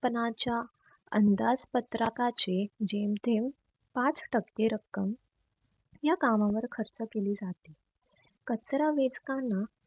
पनाच्या अंदाज पत्रकांचे जेमतेम पाच टक्के रक्कम या कामावर खर्च केली जाते. कचरा वेचतांना